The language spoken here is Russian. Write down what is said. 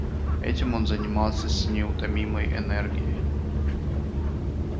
этим он занимался с неутомимой энергией